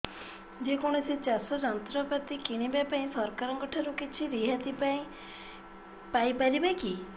ଯେ କୌଣସି ଚାଷ ଯନ୍ତ୍ରପାତି କିଣିବା ପାଇଁ ସରକାରଙ୍କ ଠାରୁ କିଛି ରିହାତି ପାଇ ପାରିବା କି